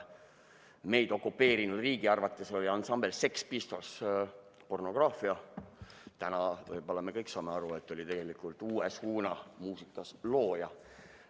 Meid okupeerinud riigi arvates oli ansambel Sex Pistols pornograafia, täna võib-olla me saame kõik aru, et see oli tegelikult muusikas uue suuna looja.